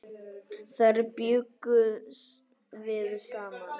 Þar bjuggum við saman.